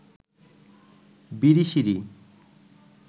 Birishiri